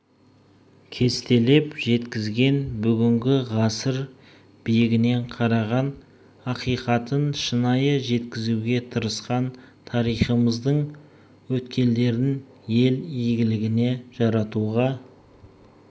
кестелеп жеткізген бүгінгі ғасыр биігінен қараған ақиқатын шынайы жеткізуге тырысқан тарихымыздың өткелдерін ел игілігіне жаратуға